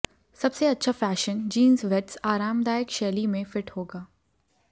सबसे अच्छा fashion jeans वेट्स आरामदायक शैली में फिट होगा